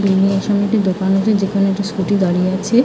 Building এর সামনে একটি দোকান আছে যেখানে একটি স্কুটি দাঁড়িয়ে আছে ।